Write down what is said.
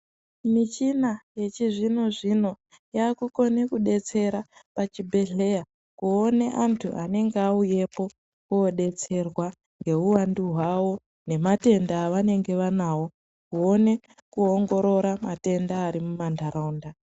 Michina yechizvino zvino yakukone kubetsera pachibhedhlera kuone vantu vanonga vauyepo kobetserwa ngeuwandu hwavo ngematenda avanenge vanawo kuone kuongorora matenda arimuntaraunta.